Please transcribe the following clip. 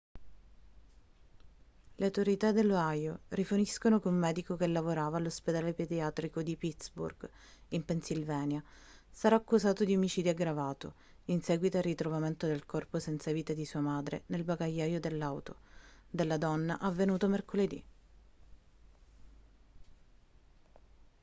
le autorità dell'ohio riferiscono che un medico che lavorava all'ospedale pediatrico di pittsburgh in pennsylvania sarà accusato di omicidio aggravato in seguito al ritrovamento del corpo senza vita di sua madre nel bagagliaio dell'auto della donna avvenuto mercoledì